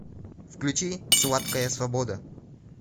включи сладкая свобода